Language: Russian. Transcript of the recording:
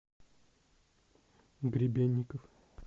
гребенников